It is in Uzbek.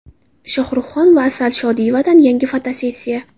Shohruhxon va Asal Shodiyevadan yangi fotosessiya .